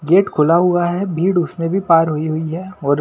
gate खुला हुआ है भीड़ उसमें भी पार हुई हुई है और--